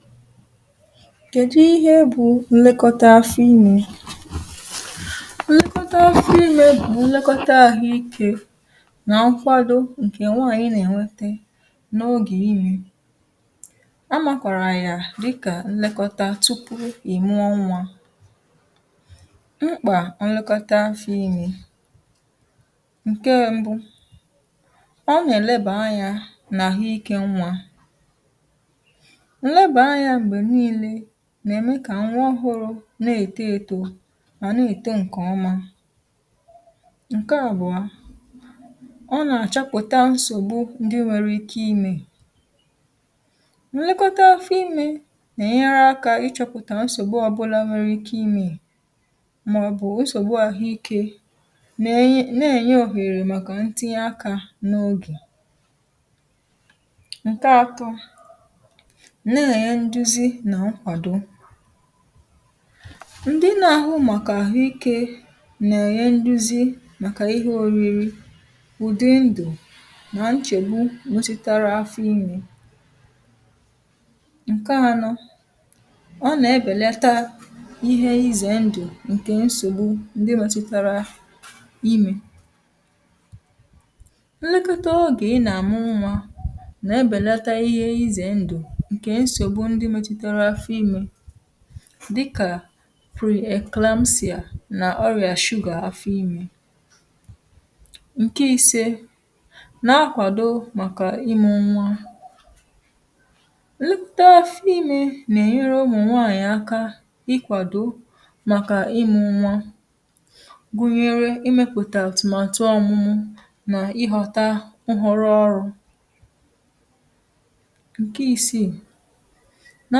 FILE 131 kèdu ihe bụ mmẹkọta afọ imē? mmẹkọta afọ imē bụ̀ nlẹkọta ahụ ike nà nkwado ǹkè nwaanyị nà ènwete n’ogè imē a makwàrà yà dịkà nlẹkọta tupù ị̀ mụọ nwā. mkpà nlẹkọta afọ imē, ǹkẹ mbụ, ọ nà ẹ̀lẹbà anyā n’àhụ ikē nwā. nlẹbà anyā m̀gbè nille nà ème kà nwa ọhụrụ nà èto eto, mà nà èto ǹkẹ̀ ọma. ǹkẹ àbụ̀ọ, ọ nà àchọpụ̀ta nsògbu ndị nwere ike imē nlẹkọta afọ ime nà ẹ̀nyẹrẹ akā ị chọpụ̀tà nsògbu ọbụlā nwẹrẹ ike ịmẹ, mà ọ̀ bụ̀ nsògbu ahụ ikē, nà ẹ̀nyẹ òhèrè màkà ntinye akā n’ogè. ǹkẹ atọ, nà ẹ̀nyẹ nduzi nà nkwàdo. ndị na ahụ màkà àhụ ikē nà ẹ̀nyẹ nduzi màkà ịhẹ oriri, ụ̀dị ndụ̀ nà nchègbu gositara afọ imē. ǹkẹ anọ, ọ nà ẹbẹ̀lata ihe ịzẹ̀ ndụ̀ ǹke nsògbu, ndị mẹtutara imē. nlẹkọta ogè ị nà àmụ nwā nà ẹbẹ̀lata ihe ịzẹ̀ ndụ̀ ǹkẹ̀ nsògbu ndị mẹtụtara afọ imē dịkà preeclampsia nà ọrị̀à sugar afọ imē. ǹkẹ ise, na akwàdo màkà ịmụ nwa, nnukwute afọ imē nà ẹ̀nyẹrẹ ụmụ̀nwanyị̀ aka ị kwàdò màkà ị mụ nwa, gụnyẹrẹ ị mẹpụ̀tà àtụ̀màtụ ọmụmụ, nà ịghọ̄ta nhọrọ ọrụ̄. ǹkẹ isiì, na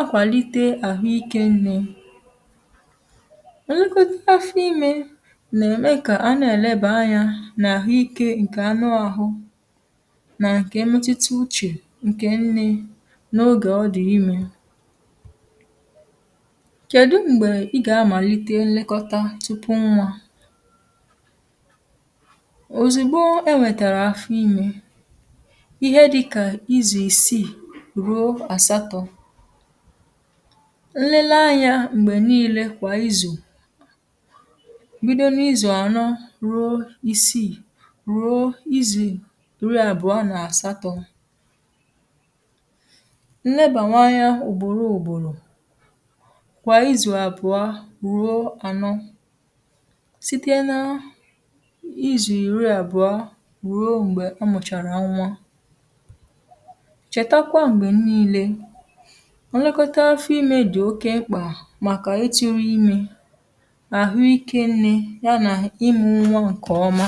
akwàlite àhụ ikē nne, nlekọta afọ imē nà ẹ̀mẹ kà a nà ẹ̀nẹbà anyā n’àhụ ikē ǹkẹ̀ anụ ahụ, nà ǹkẹ mmutite uchè ǹkẹ̀ nnẹ, na ogè ọ dị̀ imē. kẹ̀dụ m̀gbẹ ị gà amàlite nlẹkọta tupu nwā? òzìgbo ẹ nwẹtàrà afọ imē, ịhẹ dịkà ịzụ̀ ìsiì, ruo àsatọ. nlele anyā m̀gbè nille kwà ịzụ̀, bido n’izù ànọ ruo isiì, ruo izù ìri abụọ nà àsatọ. nnẹbàwanye anya ùgbòro ùgbòrò kwà izù àbụ̀ọ rùo ànọ, site na izù iri àbụ̀a, rùo m̀gbẹ̀ a mụ̀chàrà ǹwa. chẹ̀takwa m̀gbè nille, nlẹkọta afọ imē dị̀ oke mkpà màkà itūru imē, àhụ ikē nnē, y anà ịmụ nwa ǹkè ọma